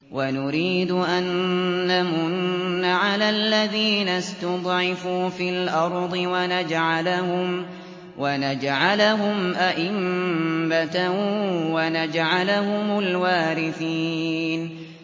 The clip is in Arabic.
وَنُرِيدُ أَن نَّمُنَّ عَلَى الَّذِينَ اسْتُضْعِفُوا فِي الْأَرْضِ وَنَجْعَلَهُمْ أَئِمَّةً وَنَجْعَلَهُمُ الْوَارِثِينَ